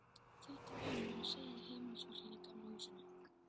Þetta var hún að segja heimilisfólkinu í Gamla húsinu.